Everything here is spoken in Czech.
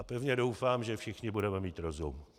A pevně doufám, že všichni budeme mít rozum.